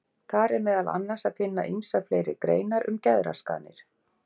Þar er meðal annars að finna ýmsar fleiri greinar um geðraskanir.